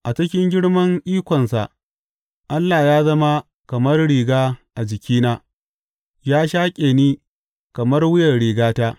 A cikin girman ikonsa Allah ya zama kamar riga a jikina; ya shaƙe ni kamar wuyan rigata.